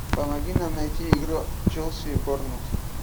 помоги нам найти игру челси борнмут